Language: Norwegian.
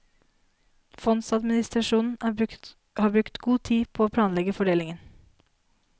Fondsadministrasjonen har brukt god tid på å planlegge fordelingen.